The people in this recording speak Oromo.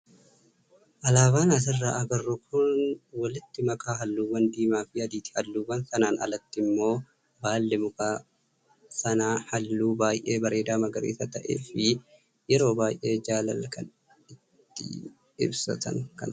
Ababaan asirraa agarru kun walitti makaa halluuwwan diimaa fi adiiti. Halluu sanaan alatti immoo baalli muka sanaa halluu baay'ee bareedaa magariisa ta'ee fi yeroo baay'ee jaalala kan ittiin ibsatan kan fakkaatudha.